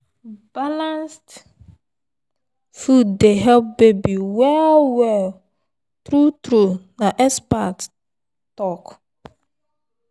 balanced food dey help baby well well true true and na expert talk.